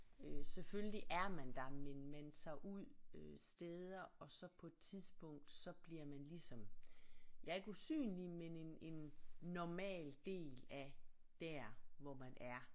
Øh selvfølgelig er man der men man tager ud øh steder og så på et tidspunkt så bliver man ligesom ja ikke usynlig men en en normal del af der hvor man er